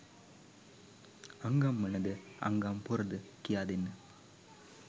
අංගම්මනද අංගම්පොරද කියාදෙන්න